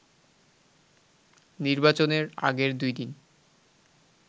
নির্বাচনের আগের দুই দিন